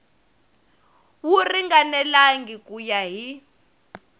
wu ringanelangi ku ya hi